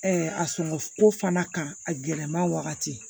a sɔngɔ ko fana kan a gɛlɛma wagati